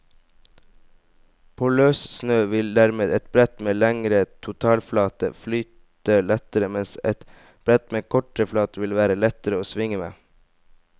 På løssnø vil dermed et brett med lengre totalflate flyte lettere, mens et brett med kortere flate vil være lettere å svinge med.